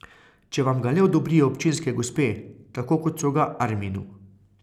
Če vam ga le odobrijo občinske gospe, tako kot so ga Arminu.